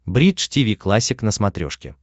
бридж тиви классик на смотрешке